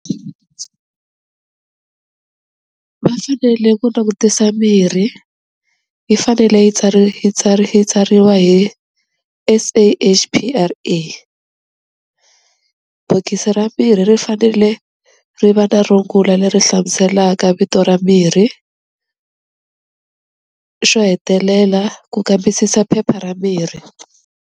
Va fanele ku langutisa mirhi yi fanele yi yi yi tsariwa hi S_A_H_P_R_A. Bokisi ra mirhi ri fanele ri va na rungula leri hlamuselaka vito ra mirhi, xo hetelela ku kambisisa phepha ra mirhi.